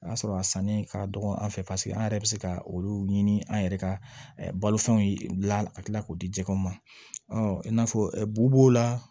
O y'a sɔrɔ a sanni ka dɔgɔ an fɛ paseke an yɛrɛ bɛ se ka olu ɲini an yɛrɛ ka balofɛnw dilan ka tila k'o di jɛgɛw ma i n'a fɔ b'u b'o la